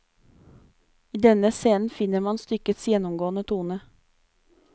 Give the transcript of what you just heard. I denne scenen finner man stykkets gjennomgående tone.